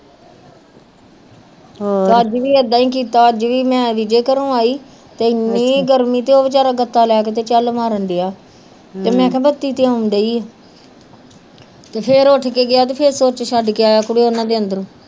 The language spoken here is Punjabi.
ਅੱਜ ਵੀ ਏਦਾਂ ਹੀ ਕਿਤਾ ਅੱਜ ਵੀ ਮੈਂ ਘਰੋਂ ਆਈ ਤੇ ਏਨੀ ਗਰਮੀ ਤੇ ਉਹ ਵਚਾਰਾ ਗਤਾ ਲੈ ਕੇ ਤੇ ਚਲ ਮਾਰਣ ਡੇਆ ਤੇ ਮੇਹਾ ਬਤੀ ਤੇ ਆਉਣ ਡਈ ਆ ਤੇ ਫੇਰ ਉੱਠ ਕੇ ਗਿਆ ਤੇ ਫੇਰ ਸੂਚ ਛੱਡ ਕੇ ਆਇਆ ਕੁੜੇ ਇਹਨਾਂ ਦੇ ਅੰਦਰ